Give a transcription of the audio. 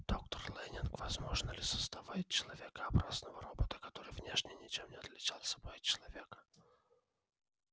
доктор лэннинг возможно ли создавать человекообразного робота который внешне ничем не отличался бы от человека